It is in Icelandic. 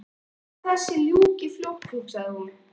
Bara að þessu ljúki fljótt hugsaði hún.